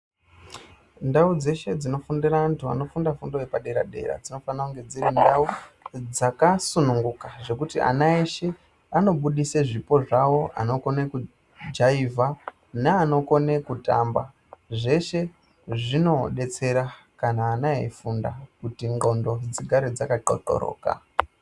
Ndau dzeshe dzinofundira antu anofunda fundo yepadera-dera dzinofana kunge dziri ndau dzakasununguka zvekuti ana eshe anobudise zvipo zvawo. Anokone kujaivha neanokone kutamba zveshe zvinodetsera kana ana eifunda kuti ndxondo dzigare dzakathothoroka.